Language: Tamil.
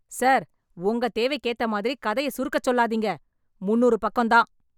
சார் உங்க தேவைக்கு ஏத்த மாதிரி கதைய சுருக்கச் சொல்லாதீங்க. முந்நூறு பக்கம் தான்.